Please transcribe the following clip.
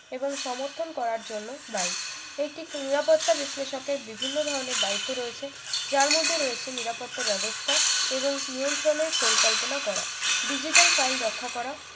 এবং সমর্থন করার জন্য দায়ী একটি নিরাপত্তা বিশ্লেষক এর বিভিন্ন ধরনের দায়িত্ব রয়েছে যার মধ্যে রয়েছে নিরাপত্তা ব্যবস্থা এবং নিয়ন্ত্রণের পরিকল্পনা করা ডিজিটাল file রক্ষা করা